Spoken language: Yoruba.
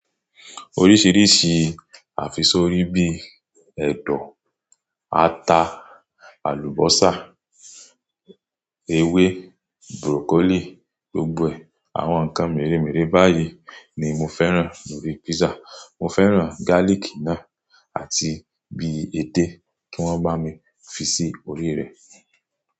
Oríṣiríṣi àfisorí bíi ẹ̀dọ̀, ata, àlùbọ́sà, ewé, burokolí, gbogbo àwọn nǹkan mèremère báyìí ni mo fẹ́ràn lórí písà. Mo fẹ́ràn gálíkì náà àti bi ẹde tí wọ́n bá mi fi sí orí rẹ̀